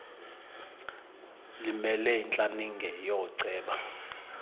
limele intlaninge yooceba